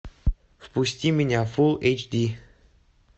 впусти меня фул эйч ди